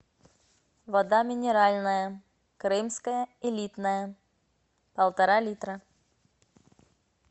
вода минеральная крымская элитная полтора литра